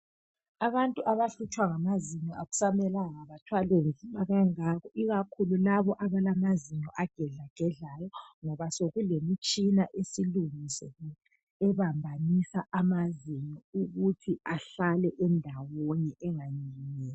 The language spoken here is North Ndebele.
Abantu abahlutshwa ngamazinyo, akusamelanga bathwale nzima kangako. Ikakhulu labo abalamazinyo agedlagedlayo, ngokuba sekulemitshina, esilungisiwe, ebambanisa amazinyo ukuthi ahlale endawonye, enganyikinyeki.